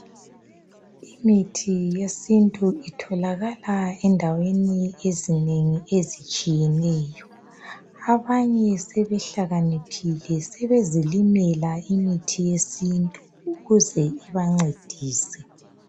Imithi yesintu itholakala endaweni ezinengi ezitshiyeneyo. Abanye sebehlakaniphile sebezilimela imithi yesintu ukuze ibancedise.